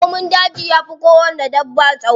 Raƙumin daji yafi kowanne dabba tsawo.